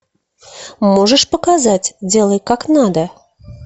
можешь показать делай как надо